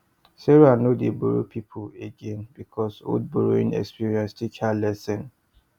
sarah no dey borrow people again because old borrowing experience teach her lesson